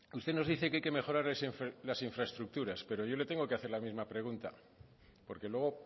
usted nos dice que hay que mejorar las infraestructuras pero yo le tengo que hacer la misma pregunta porque luego